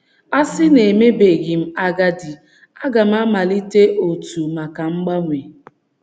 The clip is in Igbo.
“ A sị na emebeghị m agadi ,a ga m amalite òtù maka mgbanwe! ”